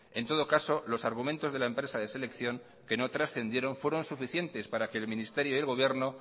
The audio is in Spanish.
en todo caso los argumento de la empresa de selección que no transcendieron fueron suficientes para que el ministerio del gobierno